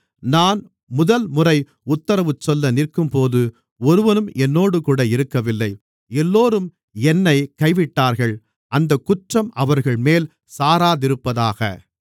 நான் முதல்முறை உத்தரவுசொல்ல நிற்கும்போது ஒருவனும் என்னோடுகூட இருக்கவில்லை எல்லோரும் என்னைக் கைவிட்டார்கள் அந்தக் குற்றம் அவர்கள்மேல் சாராதிருப்பதாக